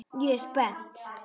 Ég er spennt.